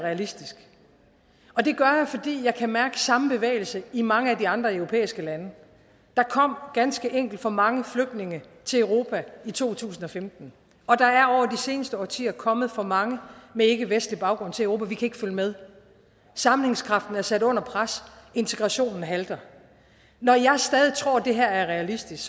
realistisk og det gør jeg fordi jeg kan mærke samme bevægelse i mange af de andre europæiske lande der kom ganske enkelt for mange flygtninge til europa i to tusind og femten og der er over seneste årtier kommet for mange med ikkevestlig baggrund til europa vi kan ikke følge med sammenhængskraften er sat under pres integrationen halter når jeg stadig tror at det her er realistisk